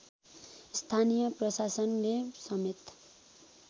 स्थानीय प्रशासनले समेत